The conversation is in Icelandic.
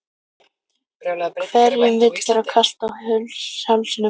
Hverjum vill vera kalt á hálsinum?